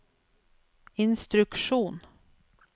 instruksjon